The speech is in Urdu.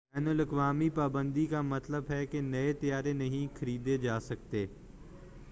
بین الاقوامی پابندی کا مطلب ہے کہ نئے طیارے نہیں خریدے جاسکتے